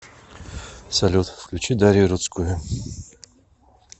салют включи дарию рудскую